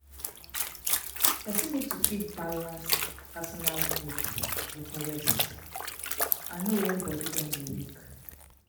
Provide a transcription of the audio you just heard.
Person need to fit balance personal growth with rest and know when body don dey weak